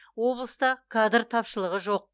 облыста кадр тапшылығы жоқ